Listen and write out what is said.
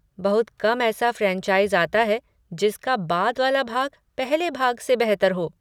बहुत कम ऐसा फ्रैनचाइज़ आता है जिसका बाद वाला भाग पहले भाग से बेहतर हो।